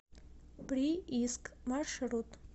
прииск маршрут